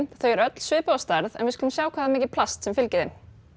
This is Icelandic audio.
þau eru öll svipuð að stærð en við skulum sjá hvað það er mikið plast sem fylgir þeim